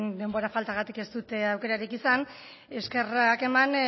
denbora faltagatik ez dut aukerarik izan eskerrak eman